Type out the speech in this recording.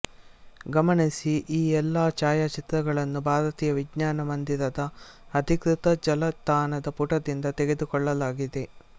ಗಮನಿಸಿ ಈ ಎಲ್ಲಾ ಛಾಯಾಚಿತ್ರಗಳನ್ನು ಭಾರತೀಯ ವಿಜ್ಞಾನ ಮಂದಿರದ ಅಧೀಕೃತ ಜಾಲತಾಣದ ಪುಟದಿಂದ ತೆಗೆದುಕೊಳ್ಳಲಾಗಿದೆ